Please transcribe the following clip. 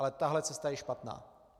Ale tahle cesta je špatná.